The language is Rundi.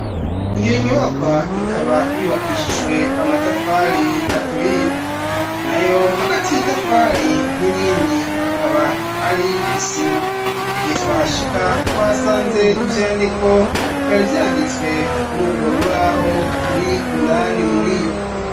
Iyo nyubakwa ikaba yubakishijwe amatafari aturiye nayo hagati y'itafari n'irindi akaba ari isima, igihe twa hashika twasanze ivyandiko vyari vyanditswe kuri ugwo rubaho ruri indani muriryo.